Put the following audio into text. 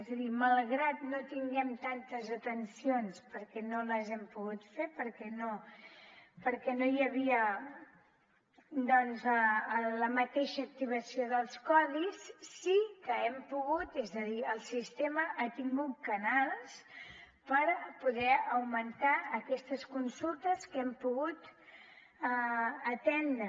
és a dir malgrat que no tinguem tantes atencions perquè no les hem pogut fer perquè no hi havia doncs la mateixa activació dels codis sí que hem pogut és a dir el sistema ha tingut canals per poder augmentar aquestes consultes que hem pogut atendre